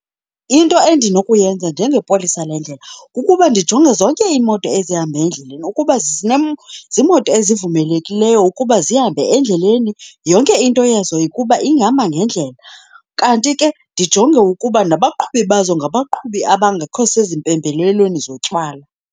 Into endinokuyenza njengepolisa lendlela kukuba ndijonge zonke iimoto ezihamba endleleni ukuba ziimoto ezivumelekileyo ukuba zihambe endleleni, yonke into yazo ukuba ihamba ngendlela. Kanti ke ndijonge ukuba nabaqhubi bazo ngabaqhubi abangekho sezimpembelelweni zotywala.